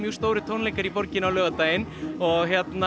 stórir tónleikar í borginni á laugardaginn og